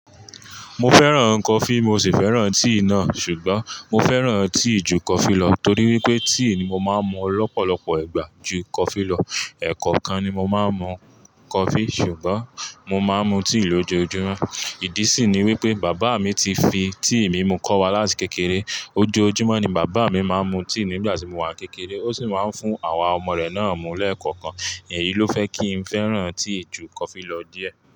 Mo fẹ́ràn coffee, mo sì fẹ́ràn tea náà, ṣùgbọ́n mo fẹ́ràn tea ju coffee lọ torí wípé tea ni mo máa ń mu lọ́pọ̀lọpọ̀ ìgbà ju coffee lọ. Ẹ̀ẹ̀kọ̀kan ni mo máa ń mu coffee ṣùgbọ́n mo máa ń mu tea lójoojúmọ́. Ìdí sì ni wípé bàbá mi ti fi tea mimu kọ́ wa láti kékeré. Ojoojúmọ́ ni bàbá mi máa ń mu tea nígbà tí mo wà n kékeré, ó sì máa ń fún àwa ọmọ rẹ̀ náà mú lẹ́ẹ̀kọ̀okan. Èyii ló fẹ́ kí n fẹ́ràn tea ju coffee lọ díẹ̀.